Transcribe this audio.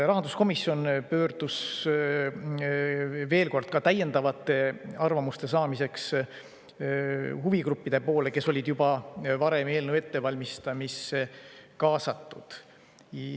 Rahanduskomisjon pöördus veel kord, et ka täiendavaid arvamusi saada, huvigruppide poole, kes olid juba varem eelnõu ettevalmistamisse kaasatud.